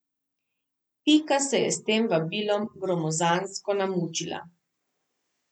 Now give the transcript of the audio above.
Pika se je s tem vabilom gromozansko namučila.